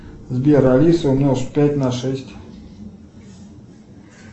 сбер алиса умножь пять на шесть